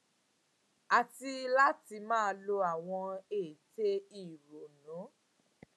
àti láti máa lo àwọn ète ìrònú